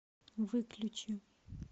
выключи